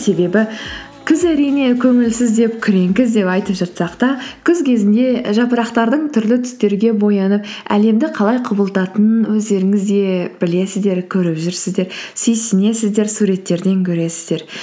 себебі күз әрине көңілсіз деп күрең күз деп айтып жатсақ та күз кезінде жапырақтардың түрлі түстерге боянып әлемді қалай құбылтатынын өздеріңіз де білесіздер көріп жүрсіздер сүйсінесіздер суреттерден көресіздер